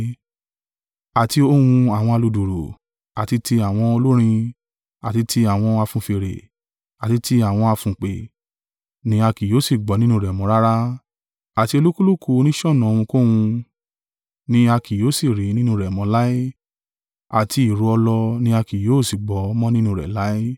Àti ohùn àwọn aludùùrù, àti ti àwọn olórin, àti ti àwọn afunfèrè, àti ti àwọn afùnpè, ni a kì yóò sì gbọ́ nínú rẹ mọ́ rara; àti olúkúlùkù oníṣọ̀nà ohunkóhun ni a kì yóò sì rí nínú rẹ mọ́ láé. Àti ìró ọlọ ní a kì yóò sì gbọ́ mọ̀ nínú rẹ láé;